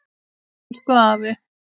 Elsku afi.